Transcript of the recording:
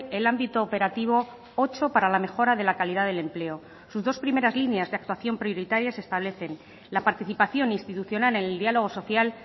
el ámbito operativo ocho para la mejora de la calidad del empleo sus dos primeras líneas de actuación prioritaria se establecen la participación institucional en el diálogo social